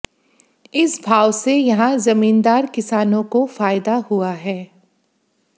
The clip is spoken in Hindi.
इस भाव से यहां जमींदार किसानों को फायदा हुआ है